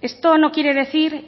esto no quiere decir